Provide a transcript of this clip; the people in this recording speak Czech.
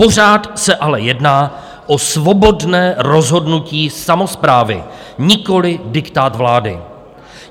Pořád se ale jedná o svobodné rozhodnutí samosprávy, nikoliv diktát vlády.